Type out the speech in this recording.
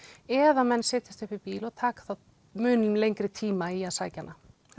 eða menn setjast upp í bíl og taka þá mun lengri tíma í að sækja hana